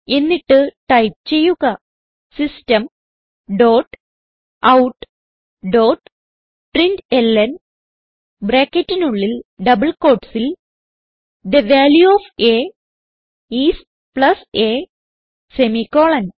എന്നിട്ട് ടൈപ്പ് ചെയ്യുക system dot out dot println ബ്രാക്കറ്റിനുള്ളിൽ ഡബിൾ quotesസിൽ the value of a is plus a semicolon